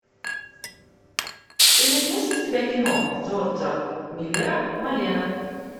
ты найдешь у себя кино джорджа миллера малена